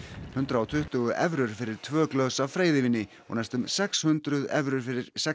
hundrað og tuttugu evrur fyrir tvö glös af freyðivíni og næstum sex hundruð evrur fyrir sex